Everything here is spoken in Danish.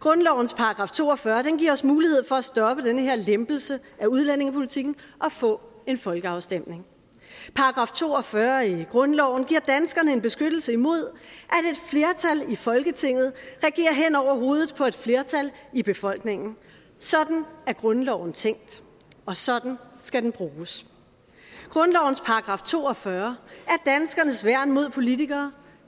grundlovens § to og fyrre giver os mulighed for at stoppe den her lempelse af udlændingepolitikken og få en folkeafstemning § to og fyrre i grundloven giver danskerne en beskyttelse imod at i folketinget regerer hen over hovedet på et flertal i befolkningen sådan er grundloven tænkt og sådan skal den bruges grundlovens § to og fyrre er danskernes værn mod politikere